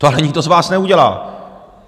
To ale nikdo z vás neudělá!